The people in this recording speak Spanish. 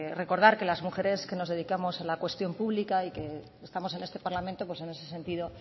recordar que las mujeres que nos dedicamos a la cuestión pública y que estamos en este parlamento pues en ese sentido